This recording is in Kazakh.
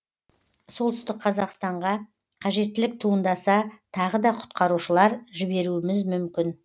солтүстік қазақстанға қажеттілік туындаса тағы да құтқарушылар жіберуіміз мүмкін